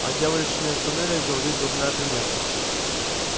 о дьявольщине в туннелях говорит дурная примета